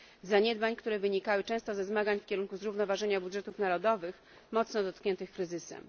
Zaniedbań, które wynikały często ze zmagań w kierunku zrównoważenia budżetów narodowych, mocno dotkniętych kryzysem.